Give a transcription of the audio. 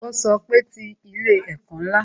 Ó sọ pé "Ti ilé ẹ̀kọ́ ńlá"